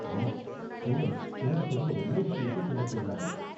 ஆமா, ஸ்டூடண்ட்ஸ் திரும்ப திரும்ப ஒரே விஷயத்த சொல்லச் சொல்றாங்க.